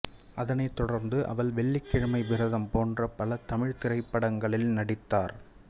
அதனைத் தொடர்ந்து அவள் வெள்ளிக்கிழமை விரதம் போன்ற பல தமிழ்த் திரைப்படங்களில் நடித்தார்